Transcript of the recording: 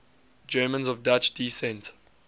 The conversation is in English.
germans of dutch descent